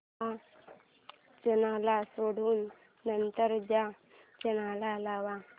हा चॅनल सोडून नंतर चा चॅनल लाव